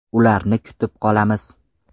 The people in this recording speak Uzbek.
Ularni kutib qolamiz.